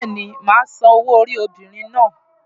Bẹ́ẹ̀ni, màá san owó orí obìnrin náà.